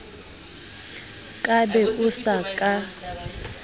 ka be o sa ka